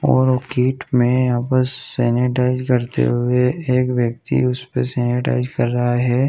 और वो गेट में बस सेनेटाइज़ करते हुए एक व्यक्ति उसपे सेनेटाइज़ कर रहा है।